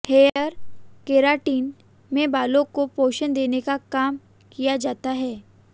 hair keratin में बालों को पोषण देने का काम किया जाता है